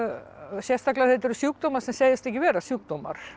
sérstaklega þegar þetta eru sjúkdómar sem segjast ekki vera sjúkdómar